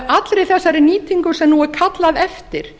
allri þessari nýtingu sem nú er kallað eftir